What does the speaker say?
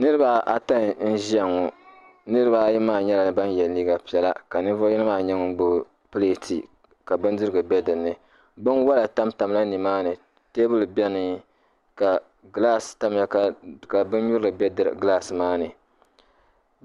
Niriba ata n ʒiya ŋɔ niriba ayi maa nyɛla ban ye liiga piɛla ka ninvuɣ'yino maa nyɛ ŋɔ gbubi pileeti ka bindirigu bɛ dini binwala tan tamila ni maani teebuli bɛni ka kilaasi tamiya ka binyuri bɛ kilaasi maani